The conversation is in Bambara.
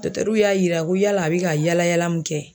ruw y'a yira ko yaala a bɛ ka yaala yaala min kɛ